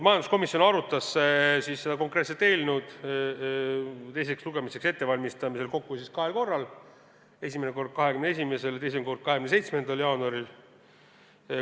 Majanduskomisjon arutas seda eelnõu teiseks lugemiseks ettevalmistamisel kokku kahel korral, esimene kord 21. jaanuaril ja teine kord 27. jaanuaril.